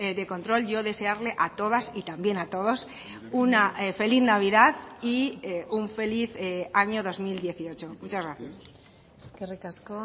de control yo desearle a todas y también a todos una feliz navidad y un feliz año dos mil dieciocho muchas gracias eskerrik asko